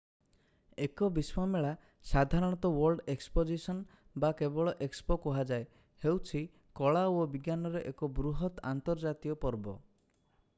ଏକ ବିଶ୍ୱ ମେଳା ସାଧାରଣତ ୱର୍ଲ୍ଡ ଏକ୍ସପୋଜିଶନ୍ ବା କେବଳ ଏକ୍ସପୋ କୁହାଯାଏ ହେଉଛି କଳା ଓ ବିଜ୍ଞାନର ଏକ ବୃହତ ଅନ୍ତର୍ଜାତୀୟ ପର୍ବ।